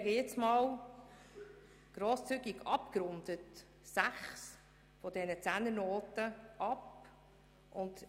Ich lege grosszügig abgerundet sechs dieser Zehnernoten einmal weg.